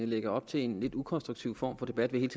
lægger op til en lidt ukonstruktiv form for debat ved hele